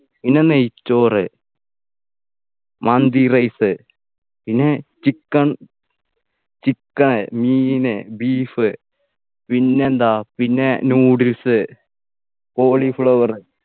പിന്നെ നെയ്ച്ചോറ് മന്തി rice പിന്നെ chicken chicken മീന് beef പിന്നെന്താ പിന്നെ noodles cauliflower